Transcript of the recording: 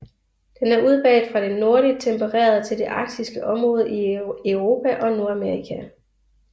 Den er udbredt fra det nordligt tempererede til det arktiske område i Europa og Nordamerika